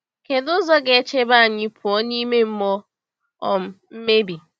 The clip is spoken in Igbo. Kedụ ụzọ ga-echebe anyị pụọ n’ime mmụọ um mmebi?